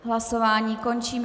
Hlasování končím.